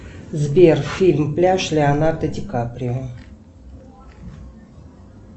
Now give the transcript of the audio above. сбер фильм пляж леонардо ди каприо